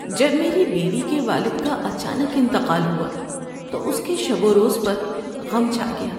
‏جب میری بیوی کے والد کا اچانک انتقال ہوا تو اس کے شب و روز پر غم چھا گیا۔